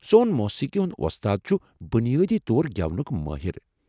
سون موسیقی ہنٛد ووستاد چھُ بنیٲدی طور گٮ۪ونُك مٲہِر ۔